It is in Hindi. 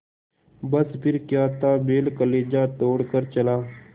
बस फिर क्या था बैल कलेजा तोड़ कर चला